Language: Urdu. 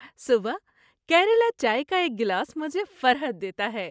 صبح کیرلا چائے کا ایک گلاس مجھے فرحت دیتا ہے۔